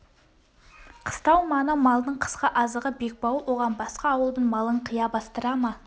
қыстау маңы малдың қысқы азығы бекбауыл оған басқа ауылдың малын қия бастыра ма